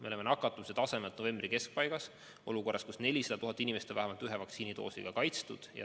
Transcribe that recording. Me oleme nakatumise tasemelt novembri keskpaigas ja 400 000 inimest on vähemalt ühe vaktsiinidoosiga kaitstud.